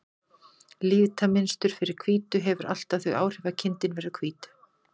Litamynstur fyrir hvítu hefur alltaf þau áhrif að kindin verður hvít.